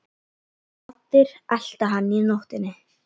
Raddir, elta hana inn í nóttina.